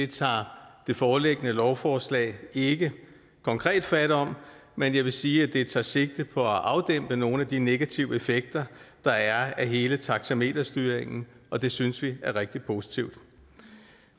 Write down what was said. tager det foreliggende lovforslag ikke konkret fat om men jeg vil sige at det tager sigte på at afdæmpe nogle af de negative effekter der er af hele taxameterstyringen og det synes vi er rigtig positivt